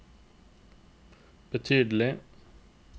betydelige